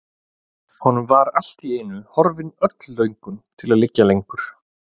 Honum var allt í einu horfin öll löngun til að liggja lengur.